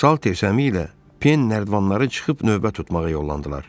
Salter Səmi ilə Pen nərdivanları çıxıb növbə tutmağa yollandılar.